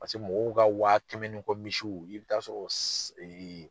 Paseke mɔgɔw ka wa kɛmɛ ni kɔ misiw i bɛ taa sɔrɔ